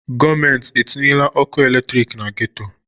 Gọọmenti etinyeela ọkụ eletriki na geto?